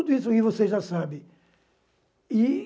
tudo isso aí vocês já sabe. E